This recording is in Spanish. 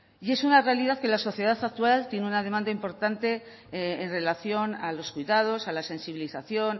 y es una realidad que la sociedad actual tiene una demanda importante en relación a los cuidados a la sensibilización